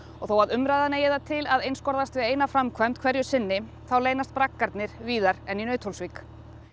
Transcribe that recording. þó að umræðan eigi til að einskorðast við eina framkvæmd hverju sinni þá eru braggar víðar en í Nauthólsvík